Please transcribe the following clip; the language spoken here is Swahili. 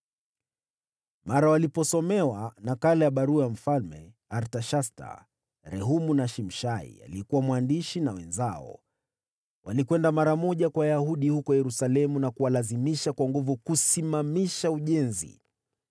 Mara waliposomewa nakala ya barua ya Mfalme Artashasta, Rehumu na Shimshai aliyekuwa mwandishi na wenzao, walikwenda mara moja kwa Wayahudi huko Yerusalemu na kuwalazimisha kwa nguvu kusimamisha ujenzi.